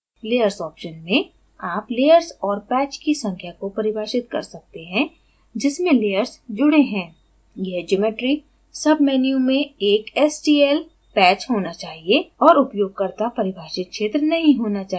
layers option में आप layers और patch की संख्या को परिभाषित कर सकते हैं जिसमें layers जुडे हैं यह geomery submenu में एक stl bold text patch होना चाहिए और उपयोगकर्ता परिभाषित क्षेत्र नहीं होना चाहिए